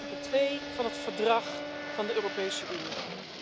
Dat staat in artikel 2 van het Verdrag van de Europese Unie.